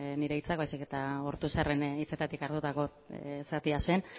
nire hitzak baizik eta ortuzarren hitzetatik hartutako zatia zen